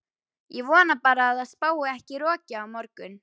Ég vona bara að það spái ekki roki á morgun.